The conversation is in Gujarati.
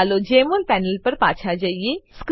ચાલો જેમોલ પેનલ પર પાછા જઈએ